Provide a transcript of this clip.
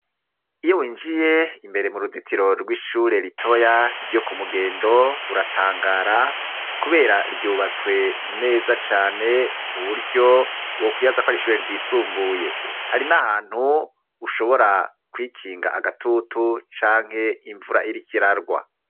Iyo winjiye imbere mu ruzitiro rw'ishure litoya ryo ku mugendo uratangara, kubera ryubatswe neza cane mu buryo wo kwiyaza ko ari ishure ryisumbuye hari n'ahantu ushobora kwikinga agatutu canke imvura iriko irarwa.